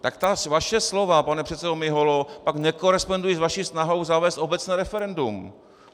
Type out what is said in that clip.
Tak ta vaše slova, pane předsedo Miholo, pak nekorespondují s vaší snahou zavést obecné referendum.